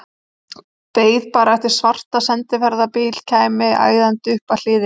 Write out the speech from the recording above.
Beið bara eftir að svarti sendiferðabíllinn kæmi æðandi upp að hliðinni.